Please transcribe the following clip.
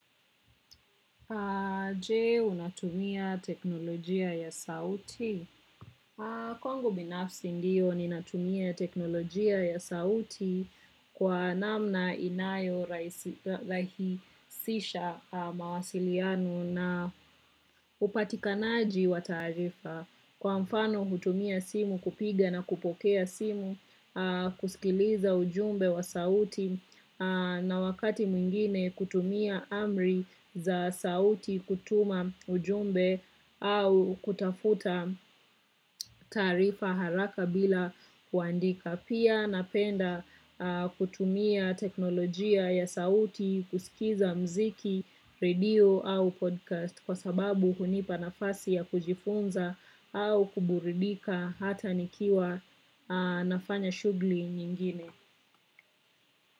Je, unatumia teknolojia ya sauti. Kongo binafsi ndiyo ni natumia teknolojia ya sauti kwa namna inayo rahisisha mawasiliano na upatikanaji wa tarifa. Kwa mfano hutumia simu kupiga na kupokea simu, kusikiliza ujumbe wa sauti na wakati mwingine kutumia amri za sauti kutuma ujumbe au kutafuta tarifa haraka bila kuandika. Tapia napenda kutumia teknolojia ya sauti, kusikiza mziki, radio au podcast kwa sababu hunipa nafasi ya kujifunza au kuburidika hata nikiwa nafanya shugli nyingine.